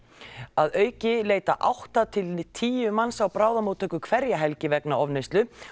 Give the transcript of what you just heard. að auki leita átta til tíu manns á bráðamóttöku hverja helgi vegna ofneyslu